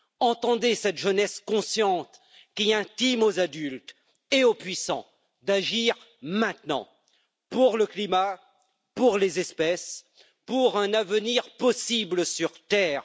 Entendez cette jeunesse consciente qui intime aux adultes et aux puissants d'agir maintenant pour le climat, pour les espèces, pour un avenir possible sur Terre.